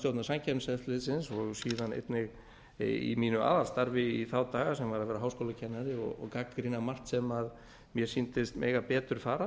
stjórnar samkeppniseftirlitsins og síðan einnig í mínu aðalstarfi í þá daga sem var að vera háskólakennari og gagnrýna margt sem mér sýndist mega betur fara